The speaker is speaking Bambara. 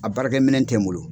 A baara kɛminɛ tɛ n bolo.